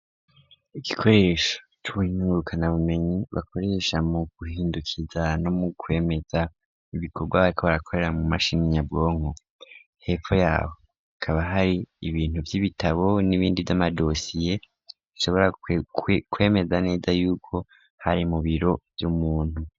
Igikoresho c'ubinturukana bumenyi bakoresha mu guhindukiza no mu kwemeza ibikorwa kobarakorera mu mashini nyabwonko, hepfo yaho kaba har’ibintu vy'ibitabo n'ibindi vy'amadosiye nshobora kwemeza neza yuko hari mu biro vy'umuntu.